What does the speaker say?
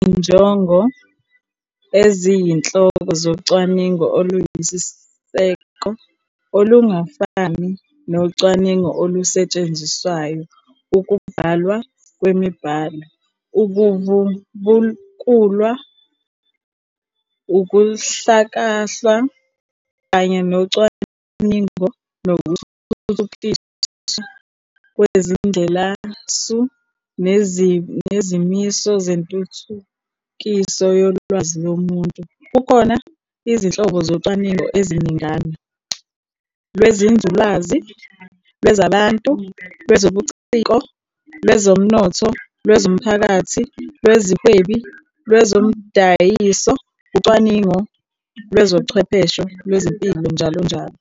Izinjongo eziyinhloko zocwaningo oluyisiseko, olungafani nocwaningo olusetshenziswayo, ukubhalwa kwemibhalo, ukuvubukulwa, ukuhlakahlwa, kanye nocwaningo nokuthuthukiswa kwezindlelasu nezimiso zentuthukiso yolwazi lomuntu. Kukhona izinhlobo zocwaningo eziningana - lwenzululwazi, lwezabantu, lwezobuciko, lwezomnotho, lwezomphakathi, lwezezihwebi, lwezomdayiso, ucwaningo lwezochwepheshe, lwezempilo, njll.